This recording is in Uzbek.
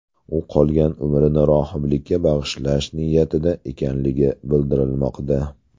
U qolgan umrini rohiblikka bag‘ishlash niyatida ekanligi bildirilmoqda.